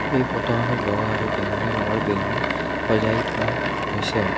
এই ফটো খনত বগা আৰু বেঙুনীয়া ৰঙৰ বেলুন সজাই থোৱা হৈছে।